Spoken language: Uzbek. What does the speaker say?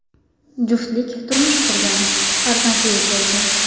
Juftlik turmush qurgan, farzandli bo‘lgan.